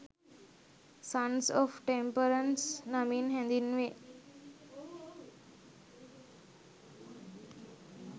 සන්ස් of temperance නමින් හැඳින්වේ